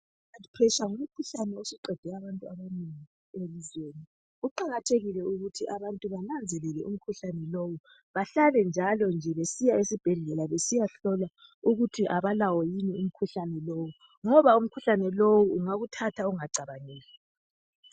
IHigh Blood pressure isiqede abantu abanengi elizweni. Kuqakathekile ukuthi abantu bananzelele umkhuhlane lo bahlale njalonje besiya esibhedlela besiyahlolwa ukuthi abalawo umkhuhlane lowo ngoba umkhuhlane lowo ungakuthatha ungacabangeli